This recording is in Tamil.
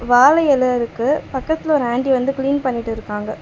வாழ எல இருக்கு பக்கத்துல ஒரு ஆன்ட்டி வந்து கிளீன் பண்ணிட்டு இருக்காங்க.